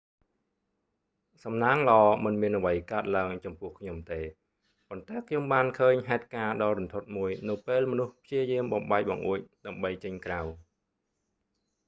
សំណាងល្អ មិនមានអ្វីកើតឡើងចំពោះខ្ញុំទេ ប៉ុន្តែខ្ញុំបានឃើញហេតុការណ៍ដ៏រន្ធត់មួយនៅពេលមនុស្សព្យាយាមបំបែកបង្អួច ដើម្បីចេញក្រៅ